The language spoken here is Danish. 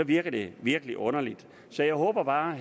virker det virkelig underligt så jeg håber bare at